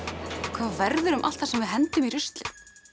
verður um allt það sem við hendum í ruslið